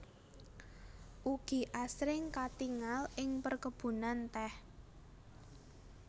Ugi asring katingal ing perkebunan teh